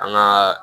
An ŋaa